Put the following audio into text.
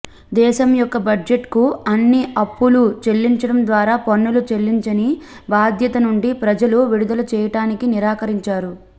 దేశం యొక్క బడ్జెట్కు అన్ని అప్పులు చెల్లించడం ద్వారా పన్నులు చెల్లించని బాధ్యత నుండి ప్రజలు విడుదల చేయటానికి నిరాకరించారు